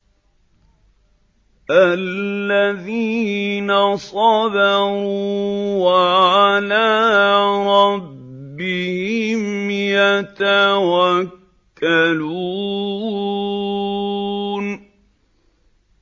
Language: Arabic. الَّذِينَ صَبَرُوا وَعَلَىٰ رَبِّهِمْ يَتَوَكَّلُونَ